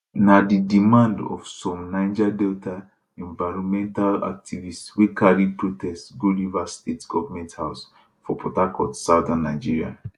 na di demand of some of some niger delta environmental activists wey carry protest go rivers state government house for port harcourt southern nigeria